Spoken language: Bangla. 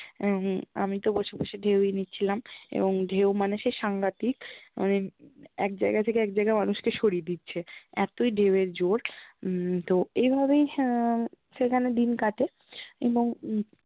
এবং আমি তো বসে বসে ঢেউই নিচ্ছিলাম এবং ঢেউ মানে সে সাংঘাতিক মানে এক জায়্গা থেকে এক জায়্গায় মানুষকে সরিয়ে দিচ্ছে এতই ঢেউ এর জোর উম তো এইভাবেই, হ্যা, সেখানে দিন কাটে এবং